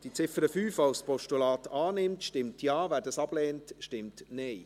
Wer die Ziffer 5 als Postulat annimmt, stimmt Ja, wer dies ablehnt, stimmt Nein.